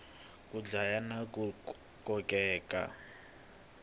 ku hlaya na ku kokeka